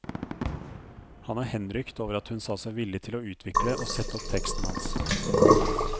Han er henrykt over at hun sa seg villig til å utvikle og sette opp teksten hans.